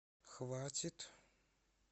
хватит